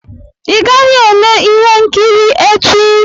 Ị gaghị ele ihe nkiri echi.